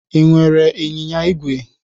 I nwere ịnyịnya ígwè?